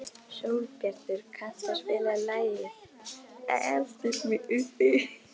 Sólbjartur, kanntu að spila lagið „Eltu mig uppi“?